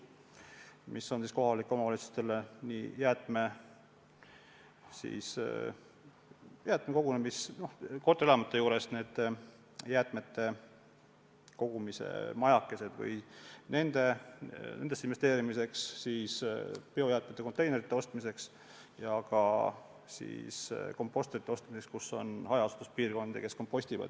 See on mõeldud kohalikele omavalitsustele, et korterelamute juures püsti panna jäätmete kogumise majakesed, biojäätmete konteinereid osta ja juurutada kompostreid hajaasustuspiirkondades.